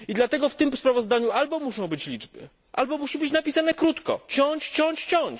Dlatego w tym sprawozdaniu albo muszą być liczby, albo musi być napisane krótko ciąć, ciąć, ciąć.